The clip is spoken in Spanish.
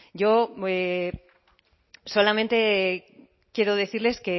yo solamente quiero decirles